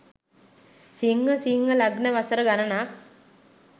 සිංහ සිංහ ලග්න වසර ගණනක්